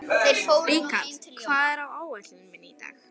Rikharð, hvað er á áætluninni minni í dag?